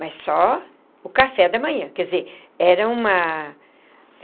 Mas só o café da manhã quer dizer era uma.